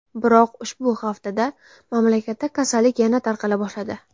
Biroq ushbu haftada mamlakatda kasallik yana tarqala boshladi.